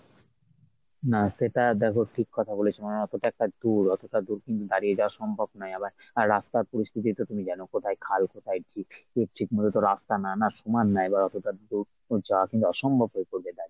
না সেটা দেখ ঠিক কথা বলেছো মানে এতটা একটা দূর এতটা দূর কিন্তু দাঁড়িয়ে যাওয়া সম্ভব না আবার আহ রাস্তার পরিস্থিতি তো তুমি জানো কোথায় খাল কোথায় ঝিল মূলত রাস্তা না না সমান না এবার অতটা দূর যাওয়া কিংবা অসম্ভব হয়ে পড়বে দাঁড়িয়ে।